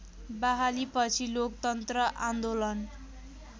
बहालीपछि लोकतन्त्र आन्दोलन